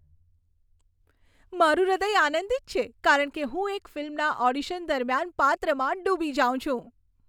મારું હૃદય આનંદિત છે કારણ કે હું એક ફિલ્મના ઓડિશન દરમિયાન પાત્રમાં ડૂબી જાઉં છું.